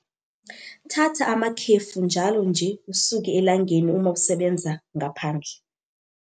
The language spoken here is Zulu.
Thatha amakhefu njalo nje usuke elangeni uma usebenza ngaphandle.